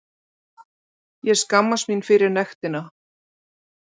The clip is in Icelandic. Ég skammast mín fyrir nektina.